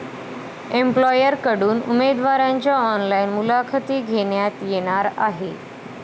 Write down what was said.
एम्प्लॉयरकडून उमेदवारांच्या ऑनलाईन मुलाखती घेण्यात येणार आहे.